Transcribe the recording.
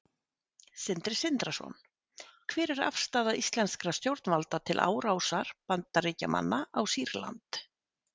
Sindri Sindrason: Hver er afstaða íslenskra stjórnvalda til árásar Bandaríkjamanna á Sýrland?